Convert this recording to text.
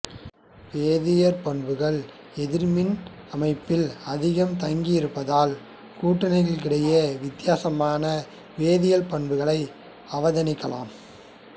வேதியற் பண்புகள் எதிர்மின்னி அமைப்பில் அதிகம் தங்கி இருப்பதால் கூட்டங்களிடையே வித்தியாசமான வேதியியற் பண்புகளை அவதானிக்கலாம்